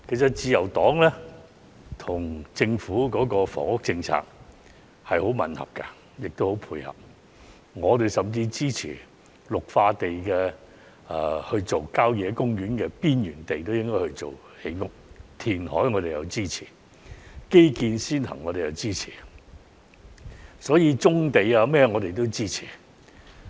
自由黨與政府的房屋政策立場吻合，亦很配合，我們甚至支持將綠化地帶或郊野公園邊陲地帶用作建屋、填海、基建先行等，亦支持發展棕地等。